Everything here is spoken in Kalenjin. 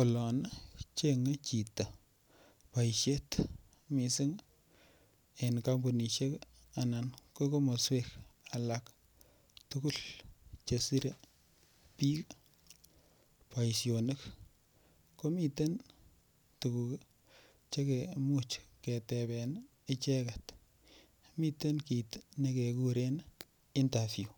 Olon chenyei chito boishet mising eng kampunishek ana ko komoswek alak tukul cheserei biik boishonik komiten tukuk chekemuch keteben icheket miten kiit nekekuren interview